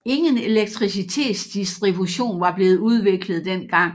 Ingen elektricitetsdistribution var blevet udviklet dengang